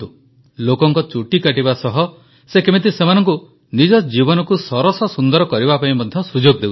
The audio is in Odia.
ଦେଖନ୍ତୁ ଲୋକଙ୍କ ଚୁଟି କାଟିବା ସହ ସେ କେମିତି ସେମାନଙ୍କୁ ନିଜ ଜୀବନକୁ ସରସ ସୁନ୍ଦର କରିବା ପାଇଁ ମଧ୍ୟ ସୁଯୋଗ ଦେଉଛନ୍ତି